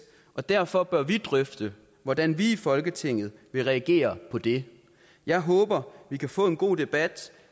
og derfor bør vi drøfte hvordan vi i folketinget vil reagere på det jeg håber vi kan få en god debat